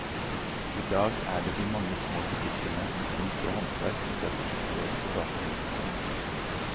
I dag er det de mange små butikkene med kunst og håndverk som setter sitt preg på gatelivet i byen.